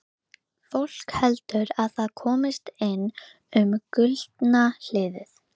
Þetta voru erfiðar hríðir en nú er fæðingin að hefjast.